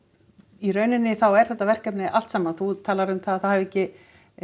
í rauninni þá er þetta verkefni allt saman þú talar um það að það hafi ekki